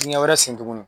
Dingɛ wɛrɛ sen tuguni